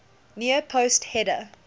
near post header